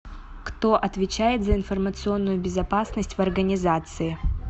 кто отвечает за информационную безопасность в организации